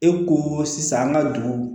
E ko sisan an ka dugu